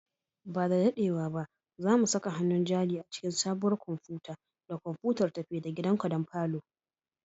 Ba da daɗewa ba, za mu saka hannun jari a cikin sabuwar kwamfuta da kwamfutar tafi-da-gidanka don falon